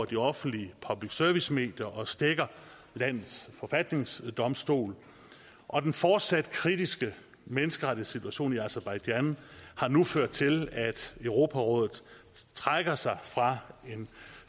de offentlige public service medier og stækker landets forfatningsdomstol og den fortsat kritiske menneskerettighedssituation i aserbajdsjan har nu ført til at europarådet trækker sig fra en